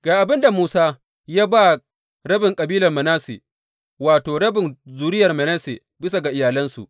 Ga abin da Musa ya ba rabin kabilar Manasse, wato, wa rabin zuriyar Manasse, bisa ga iyalansu.